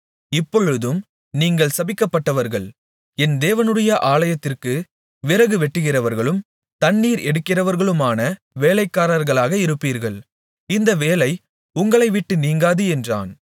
இப்பொழுதும் நீங்கள் சபிக்கப்பட்டவர்கள் என் தேவனுடைய ஆலயத்திற்கு விறகு வெட்டுகிறவர்களும் தண்ணீர் எடுக்கிறவர்களுமான வேலைக்காரர்களாக இருப்பீர்கள் இந்த வேலை உங்களைவிட்டு நீங்காது என்றான்